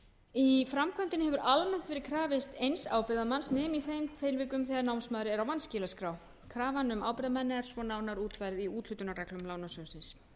í framkvæmdinni hefur almennt verið krafist eins ábyrgðarmanns nema í þeim tilvikum þegar námsmaður er á vanskilaskrá krafan um ábyrgðarmenn er nánar útfærð í úthlutunarreglum lánasjóðsins